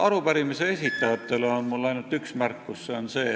Arupärimise esitajatele on mul ainult üks märkus.